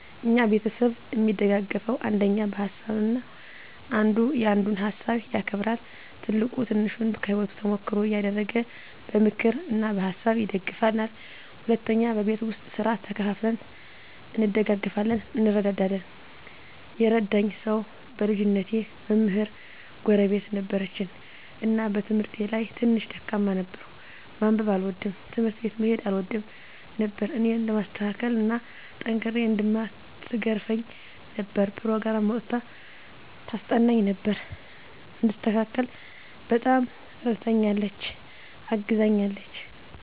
እኛ ቤተሰብ እሚደጋገፈዉ አንደኛ በሀሳብ ነዉ። አንዱ ያንዱን ሀሳብ ያከብራል፣ ትልቁ ትንሹን ከህይወቱ ተሞክሮ እያደረገ በምክር እና በሀሳብ ይደግፉናል። ሁለተኛ በቤት ዉስጥ ስራ ተከፋፍለን እንደጋገፋለን (እንረዳዳለን) ። የረዳኝ ሰዉ በልጅነቴ መምህር ጎረቤት ነበረችን እና በትምህርቴ ላይ ትንሽ ደካማ ነበርኩ፤ ማንበብ አልወድም፣ ትምህርት ቤት መሄድ አልወድም ነበር እኔን ለማስተካከል እና ጠንክሬ እንድማር ትገርፈኝ ነበር፣ ኘሮግራም አዉጥታ ታስጠናኝ ነበር፣ እንድስተካከል በጣም እረድታኛለች(አግዛኛለች) ።